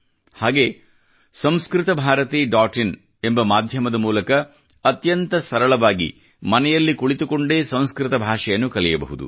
ಹಾಗೇ Samskrita Bharati dot in ಎಂಬ ಮಾಧ್ಯಮದ ಮೂಲಕ ಅತ್ಯಂತ ಸರಳವಾಗಿ ಮನೆಯಲ್ಲಿ ಕುಳಿತುಕೊಂಡೇ ಸಂಸ್ಕೃತ ಭಾಷೆಯನ್ನು ಕಲಿಯಬಹುದು